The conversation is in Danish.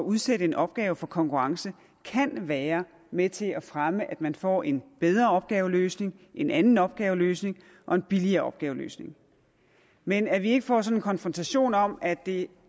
udsætte en opgave for konkurrence kan være med til at fremme at man får en bedre opgaveløsning en anden opgaveløsning og en billigere opgaveløsning men at vi ikke får sådan en konfrontation om at det